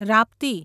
Rapti